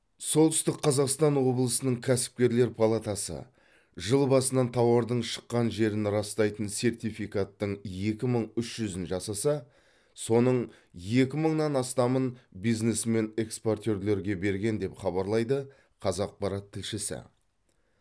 солтүстік қазақстан облысының кәсіпкерлер палатасы жыл басынан тауардың шыққан жерін растайтын сертификаттың екі мың үш жүзін жасаса соның екі мыңнан астамын бизнесмен экспортерлерге берген деп хабарлайды қазақпарат тілшісі